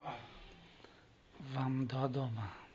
вамдодома